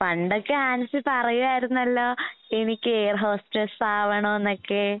പണ്ടൊക്കെ ആൻസി പറയുവായിരുന്നല്ലോ എനിക്ക് എയർഹോസ്ട്രെസ്സ് ആവണോന്നൊക്കെ.